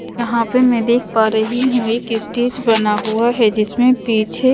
यहाँ पे मैं देख पा रही हूं एक स्टेज बना हुआ है जिसमें पीछे--